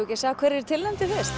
ekki sjá hverjir eru tilnefndir fyrst